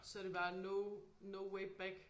Så er det bare no no way back